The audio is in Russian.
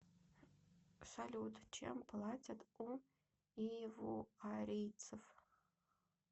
салют чем платят у ивуарийцев